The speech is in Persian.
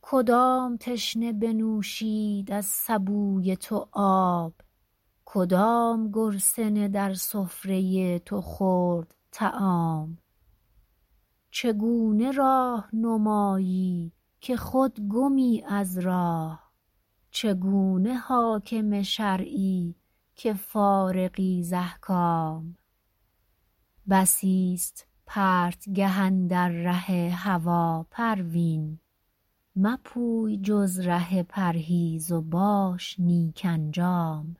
کدام تشنه بنوشید از سبوی تو آب کدام گرسنه در سفره تو خورد طعام چگونه راهنمایی که خود گمی از راه چگونه حاکم شرعی که فارغی ز احکام بسی است پرتگه اندر ره هوی پروین مپوی جز ره پرهیز و باش نیک انجام